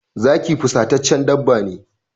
Zaki fusataccen dabba ne.